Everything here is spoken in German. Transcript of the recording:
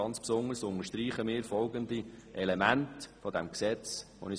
Ganz besonders unterstreichen wir folgende Elemente dieses Gesetzes: